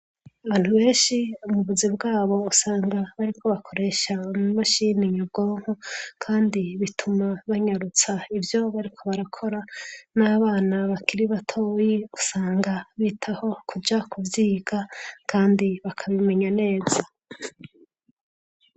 Abantu benshi mubuzi bwabo usanga bariko bakoresha imashini nyabwonko kandi usanga bariko baranyutsa ivyo bariko barakora nabana bakiri batoyi usanga bariko bitahi kuja kuvyiga kandi bakabimenya neza.